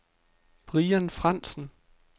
Brian Frandsen